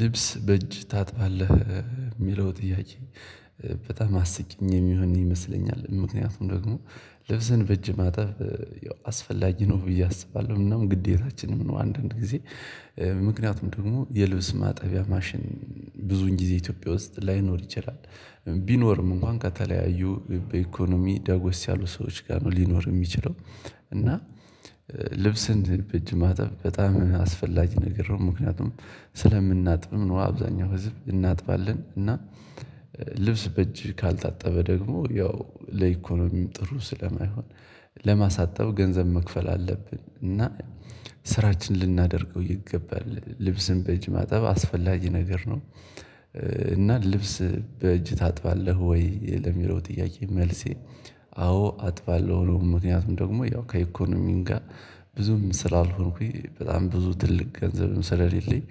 ልብስ በእጅ ታጥባለህ የሚለው ጥያቄ። በጣም አስቂኝ የሚሆን ይመስለኛል ምክንያቱም ደግሞ ልብስን በእጅ ማጠብ አስፈላጊ ነው ብዬ አስባለሁ እናም ግዴታችንም ነው። አንዳንድ ጊዜ ምክንያቱም ደግሞ የልብስ ማጠቢያ ማሽን ብዙውን ጊዜ ኢትዮጵያ ውስጥ ላይኖር ይችላል። ቢኖርም እንኳን ከተለያዩ በኢኮኖሚ ዳጎስ ያሉ ሰዎች ጋር ነው ሊኖር የሚችለው። እና ልብስን በእጅ ማጠብ በጣም አስፈላጊ ነገር ነው ምክንያቱም ስለምናጥብም ነው አብዛኛው ህዝብ እናጥባለን። ልብስ በእጅ ካልታጠበ ደግሞ ያው ለኢኮኖሚም ጥሩ ስለማይሆን። ለማሳጠብ ገንዘብ መክፈል አለብን እና ስራችን ልናደርገው ይገባል ልብስን በእጅ ማጠብ አስፈላጊ ነገር ነው። እና ልብስ በእጅ ታጥባለህ ወይ ለሚለው ጥያቄ? መልሴ አዎ አጥባለሁ ነው። ምክንያቱም ደግሞ ያው ከኢኮኖሚም ጋር ብዙም ስላልሆንኩኝ በጣም ብዙ ትልቅ ገንዘብም ስለሌለኝ።